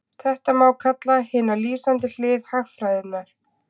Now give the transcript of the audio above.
Þetta má kalla hina lýsandi hlið hagfræðinnar.